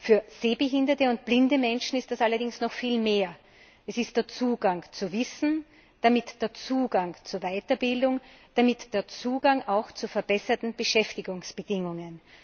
Für sehbehinderte und blinde Menschen ist es allerdings noch viel mehr Es ist der Zugang zu Wissen, damit der Zugang zu Weiterbildung, damit der Zugang auch zu verbesserten Beschäftigungsbedingungen.